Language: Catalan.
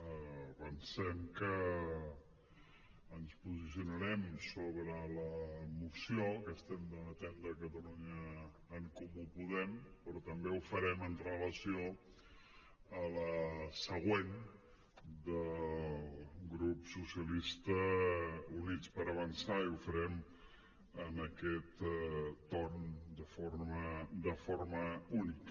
avancem que ens posicionarem sobre la moció que estem debatent de catalunya en comú podem però també ho farem amb relació a la següent del grup socialistes i units per avançar i ho farem en aquest torn de forma única